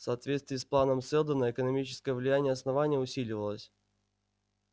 в соответствии с планом сэлдона экономическое влияние основания усиливалось